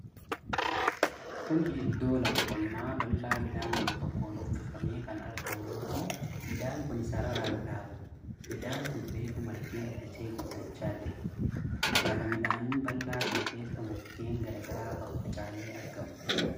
Kuni iddoo qonnaa lafa bal'aa midhaan gosa tokkoon uffifamee kan argamu yoo ta'u, midhaan kun sararaan dhaabame. Midhaan kun reefu margee lalisee guddachaa jira. Lafa midhaanii bal'aa kana keessa mukkeen garaa garaa faffaca'anii argamu.